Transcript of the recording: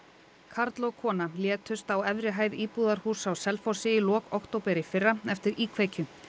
karl og kona létust á efri hæð íbúðarhúss á á Selfossi í lok október í fyrra eftir íkveikju